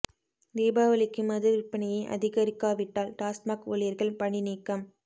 தீபாவளிக்கு மது விற்பனையை அதிகரிக்கா விட்டால் டாஸ்மாக் ஊழியர்கள் பணி நீக்கம்